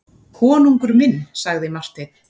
Konungur minn, sagði Marteinn.